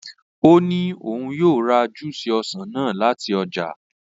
Ó ní òun yóò ra júúsì ọsàn náà láti ọjà.